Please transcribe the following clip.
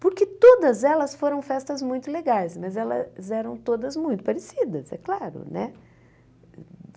Porque todas elas foram festas muito legais, mas elas eram todas muito parecidas, é claro, né?